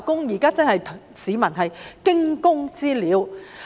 現在市民真是如"驚弓之鳥"。